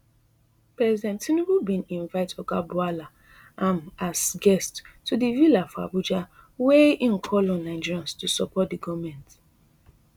president tinubu bin invite oga bwala am as guest to di villa for abuja wia im call on nigerians to support di goment